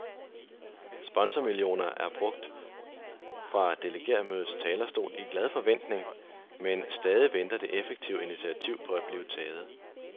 Sponsormillioner er brugt fra delegeretmødets talerstol i glad forventning, men stadig venter det effektive initiativ på at blive taget.